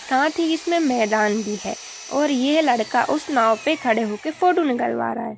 साथ ही इसमें मैदान भी है और यह लड़का उस नाव पे खड़े होके फ़ोटो निकलवा रहा है।